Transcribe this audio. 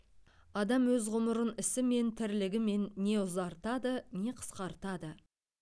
адам өз ғұмырын ісімен тірлігімен не ұзартады не қысқартады